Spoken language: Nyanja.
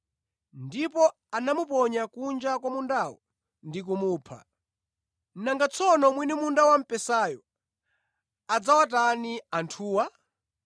Ndipo anamuponya kunja kwa mundawo ndi kumupha. “Nanga tsono mwini munda wamphesayo adzawatani anthuwa?